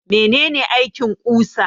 Mene ne aikin ƙusa?